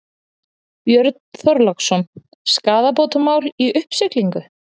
Björn Þorláksson: Skaðabótamál í uppsiglingu?